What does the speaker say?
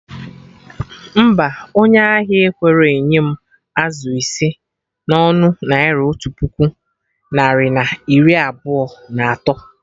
Mba, onye ahia ekwerọ enye m azụ ise na ọnụ Naira otu puku narị na iri abụọ na atọ